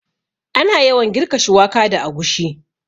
Ana yawan girka shuwaka da agushi